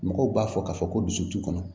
Mɔgɔw b'a fɔ k'a fɔ ko dusutu kɔnɔ